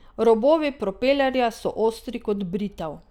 Robovi propelerja so ostri kot britev.